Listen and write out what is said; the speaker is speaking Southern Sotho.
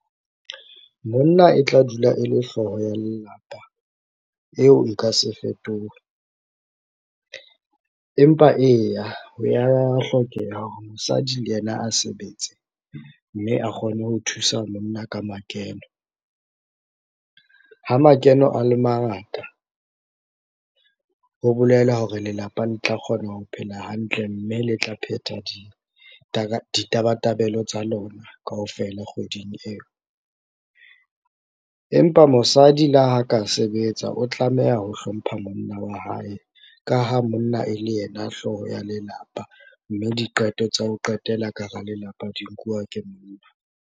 Monna e tla dula e le hlooho ya lelapa, eo e ka se fetohe, empa eya ho ya hlokeha hore mosadi le yena a sebetse mme a kgone ho thusa monna ka makeno. Ha makeno a le mangata, ho bolela hore lelapa le tla kgona ho phela hantle mme le tla phetha ditabatabelo tsa lona kaofela kgweding eo. Empa mosadi le ha ka sebetsa, o tlameha ho hlompha monna wa hae, ka ha monna e le yena hlooho ya lelapa mme diqeto tsa ho qetela ka hara lelapa di nkuwa ke monna.